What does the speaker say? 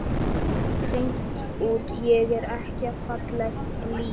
Hreint út: Ég verð ekki fallegt lík.